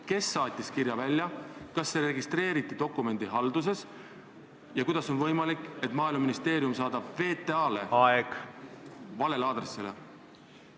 Kes saatis kirja välja, kas see registreeriti dokumendihalduses ja kuidas on võimalik, et Maaeluministeerium saadab VTA kirja valele aadressile?